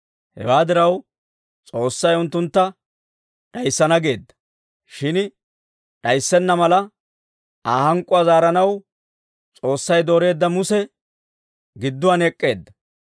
Hewaa diraw, S'oossay unttuntta d'ayissana geedda; shin d'ayissenna mala, Aa hank'k'uwaa zaaranaw, S'oossay dooreedda Muse gidduwaan ek'k'eedda.